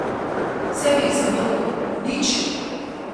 Vse bi jih zavrgel, uničil!